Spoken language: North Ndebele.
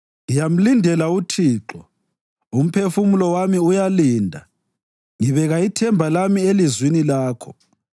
Ngiyamlindela uThixo, umphefumulo wami uyalinda, ngibeka ithemba lami elizwini lakho.